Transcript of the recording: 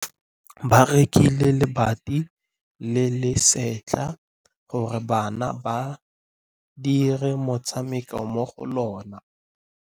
Ba rekile lebati le le setlha gore bana ba dire motshameko mo go lona.